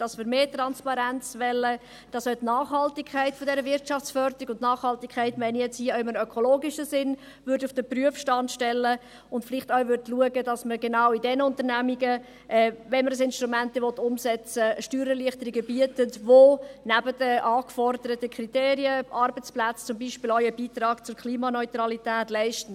Dies, weil wir mehr Transparent wollen, weil wir wollen, dass man die Nachhaltigkeit der Wirtschaftsförderung – damit meine ich Nachhaltigkeit im ökologischen Sinn – auf den Prüfstand stellt und vielleicht auch schauen würde, dass man jenen Unternehmungen – wenn man das Instrument umsetzen will – Steuererleichterungen bietet, welche neben den angeforderten Kriterien an die Arbeitsplätze, zum Beispiel auch einen Beitrag zur Klimaneutralität leistet.